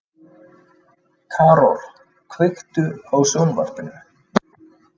Karol, kveiktu á sjónvarpinu.